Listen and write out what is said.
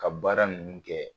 Ka baara ninnu kɛ